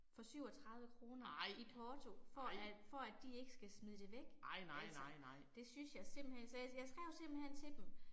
For 37 kr. i porto, for at for at de ikke skal smide det væk, altså, det synes jeg simpelthen, så jeg jeg skrev simpelthen til dem